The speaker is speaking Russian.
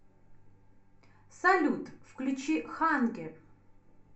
салют включи хангер